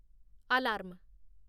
alarm